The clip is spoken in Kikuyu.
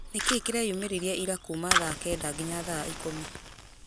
nĩkĩĩ kĩreyumĩririe ira kuma thaa kenda nginya thaa ikũmi